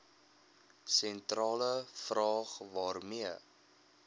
sentrale vraag waarmee